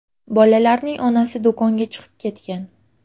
Bolalarning onasi do‘konga chiqib ketgan.